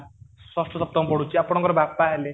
ଷଷ୍ଠ ସପ୍ତମ ପଢୁଛି ଆପଣଙ୍କର ବାପା ହେଲେ